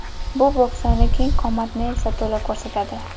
Bu bo‘ksani keng qomatni esa to‘la ko‘rsatadi.